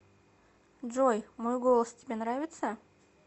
джой мой голос тебе нравится